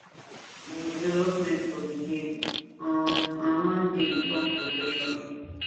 im development for di game um and one day turn professional